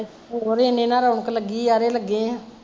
ਹੋਰ ਏਨੇ ਨਾਲ਼ ਰੌਣਕ ਲੱਗੀ ਜਾਰੇ ਲੱਗੇ ਆ